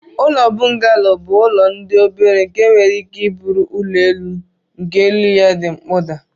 Ụlọ bungalo bu ụlọ di obere nke nwere ike buru ụlọ elu nke elu ya di mkpoda.